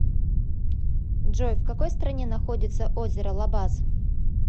джой в какой стране находится озеро лабаз